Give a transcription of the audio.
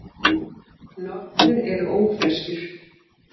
Nornir eru ófreskjur.